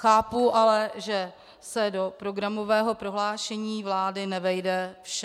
Chápu ale, že se do programového prohlášení vlády nevejde vše.